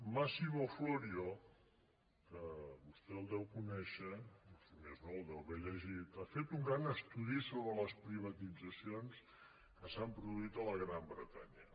massimo florio que vostè el deu conèixer o si més no el deu haver llegit ha fet un gran estudi sobre les privatitzacions que s’han produït a la gran bretanya